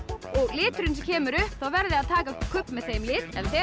og liturinn sem kemur upp þá verðið þið að taka kubb með þeim lit en þegar